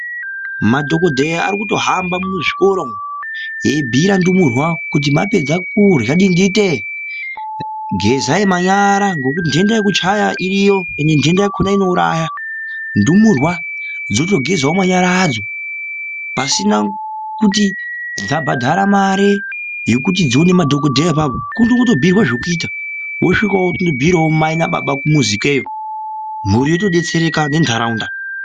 Madhokodheya arikuto hamba muzvikora umwo eibhuyiraa ndumurwa kuti kana mwapedza kurya dindite ngezai manyara ngekuti nhenda yekuchaya iriyo ende nhenda yakona inouraya, ndumurwa dzotogezawo manyara adzo, pasina kuti dzabhadhare mare yekuti dzione madhokodheya apapo, kutobhuyirwe zvekuita wosvika wobhuyirawo mai nababa kumuzi ikweyo mhuri yotodetsereka nenharaunda.